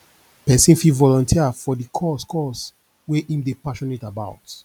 pesin fit volunteer for di cause cause wey im dey passionate about